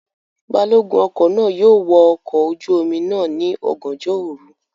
Balogun ọkọ náà yóò wọ ọkọ̀ ojú omi náà ní ọ̀gànjọ́ òru